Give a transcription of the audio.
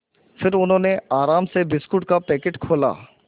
फिर उन्होंने आराम से बिस्कुट का पैकेट खोला